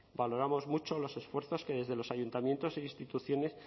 valoramos mucho los esfuerzos que desde los ayuntamientos e instituciones